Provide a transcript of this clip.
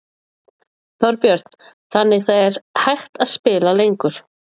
Þorbjörn: Þannig það er hægt að spila lengur?